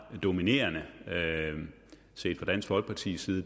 dominerende set fra dansk folkepartis side